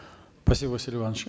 спасибо василий иванович